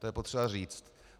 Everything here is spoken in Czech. To je potřeba říct.